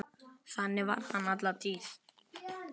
Þannig var hann alla tíð.